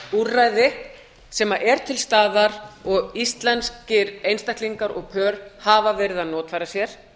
úrræði sem er til staðar og íslenskir einstaklingar og pör hafa verið að notfæra sér